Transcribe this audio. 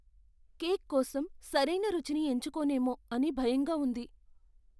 Cake కోసం సరైన రుచిని ఎంచుకోనేమో అని భయంగా ఉంది.